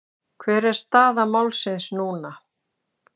Hver er staða málsins núna?